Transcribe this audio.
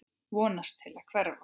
Vonast til að hverfa.